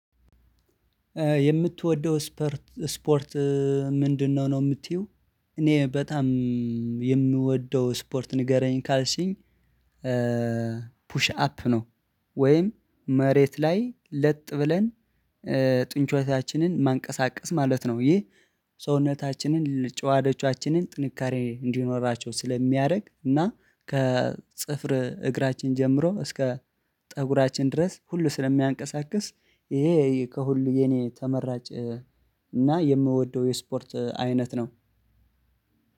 የምትወደው ስፐርት ስፖርት ምንድነው ነው የምትይው? እኔ በጣም የምወደው ስፖርት ንገረኝ ካልሽኝ ፑሽ አፕ ነው ወይም መሬት ላይ ለጥ ብለን ጡንቾቻችንን ማንቀሳቀስ ማለት ነው። ይህ ሰውነታችንን ጨዋዳዎቻችንን ጥንካሬ እንዲኖራቸው ስለሚያደርግ እና ከጥፍር እግራችን ጀምሮ እስከ ፀጉራችን ድረስ ሁሉ ስለሚያንቀሳቅስ ይሄ ከሁሉ የኔ ተመራጭ እና የምወደው የስፖርት አይነት ነው።